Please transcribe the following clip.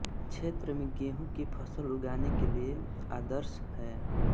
क्षेत्र में गेहूं की फसल उगाने के लिए आदर्श है